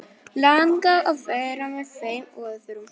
Langar að vera með þeim á öðrum stað.